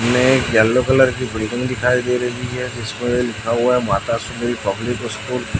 में yellow colour की building दिखाई दे रही है जिसमें लिखा हुआ है माता सुंदरी पब्लिक स्कूल --